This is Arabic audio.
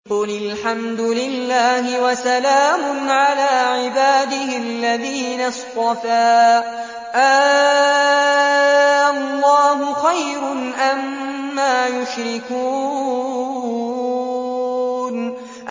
قُلِ الْحَمْدُ لِلَّهِ وَسَلَامٌ عَلَىٰ عِبَادِهِ الَّذِينَ اصْطَفَىٰ ۗ آللَّهُ خَيْرٌ أَمَّا يُشْرِكُونَ